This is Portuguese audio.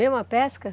Mesmo a pesca?